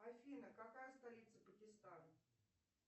афина какая столица пакистана